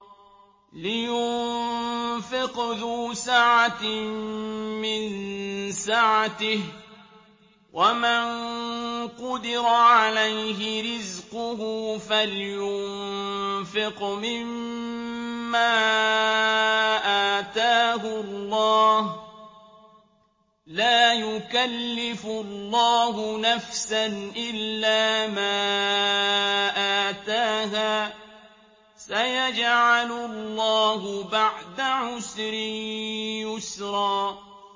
لِيُنفِقْ ذُو سَعَةٍ مِّن سَعَتِهِ ۖ وَمَن قُدِرَ عَلَيْهِ رِزْقُهُ فَلْيُنفِقْ مِمَّا آتَاهُ اللَّهُ ۚ لَا يُكَلِّفُ اللَّهُ نَفْسًا إِلَّا مَا آتَاهَا ۚ سَيَجْعَلُ اللَّهُ بَعْدَ عُسْرٍ يُسْرًا